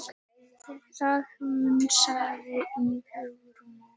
Það hnussaði í Hugrúnu.